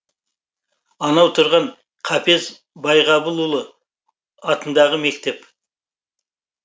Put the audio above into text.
анау тұрған қапез байғабылұлы атындағы мектеп